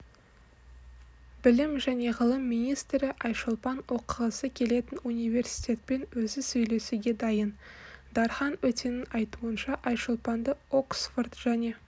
білім және ғылым министріайшолпан оқығысы келетін университетпен өзі сөйлесуге дайын дархан өтенің айтуынша айшолпанды оксфорд және